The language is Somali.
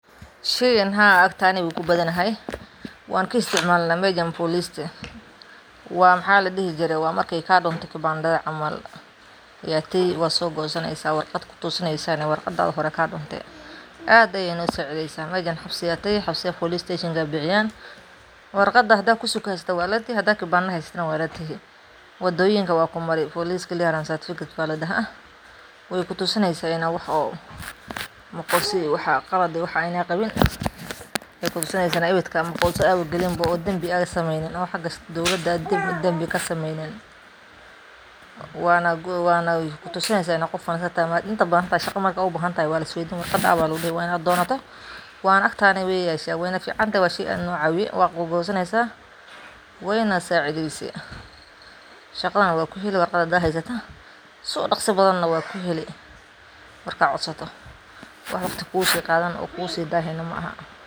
Sheygan Haa agteena wuu kubadanahay, wanka isticmaalna mejan boliste, waa maxa ladhihi jire waa markay kadhunto kibandhada camal, yad tegi wadso gosaneyso warqad kutusini inta hore kaa dhunte, aad ayana usaacideysa meshan habsa police station aya bixiyan warqada hada kusug haysato wad lategi hadad kibandha haysato na wad lategi, wadooyinka wad kumari police clearance certificate ba ladhaha, way kutusineysa ina wax oo makosa iyo wax qalade oo waxa ad qabin, waxay kutusineysa inad ibidka makosa aba gelin bo ad dambi sameeynin, xaga dowlada ad dembi kasameeynin, wana kutusineysa inad qof wanaagsan tahay inta badan shaqa marka ubahantahay waa lis weydini warqada aw aa lugu dhihi ,waa inad doonoto wana agta way yashe wayna ficanta, waa shey aad no caawiya, wad goosaneysa wayna saacideyse, shaqadana wad kuheli warqada haday haysato si udhaqsi badan na wad kuheli markad codsato wax waqti kugu qaadani oo kugusi daahi na ma aha